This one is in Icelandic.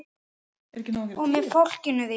Og með fólkinu þínu.